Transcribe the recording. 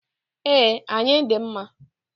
E, ayi dị mma.